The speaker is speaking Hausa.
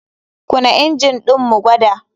KUna injin ɗin mu gwada.